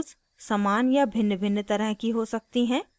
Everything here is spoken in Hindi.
* values समान या भिन्नभिन्न तरह की हो सकती हैं